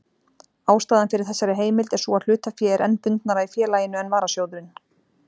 Ástæðan fyrir þessari heimild er sú að hlutafé er enn bundnara í félaginu en varasjóðurinn.